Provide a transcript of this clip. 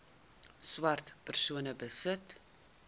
swart persone besit